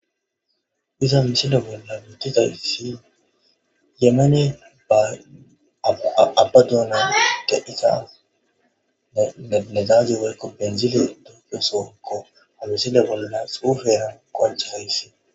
Diza misile bolla mitizaysi yemane ba abba duuna ite iza nedage warko penzile dofosokko ha misile bolla suferan konche hayssi